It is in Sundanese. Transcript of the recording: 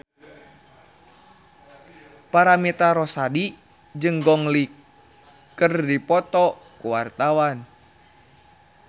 Paramitha Rusady jeung Gong Li keur dipoto ku wartawan